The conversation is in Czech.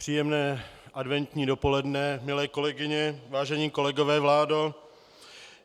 Příjemné adventní dopoledne, milé kolegyně, vážení kolegové, vládo.